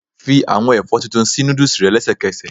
Fi àwọn ẹ̀fọ́ tuntun sí noodles rẹ lẹ́sẹ̀kẹsẹ̀.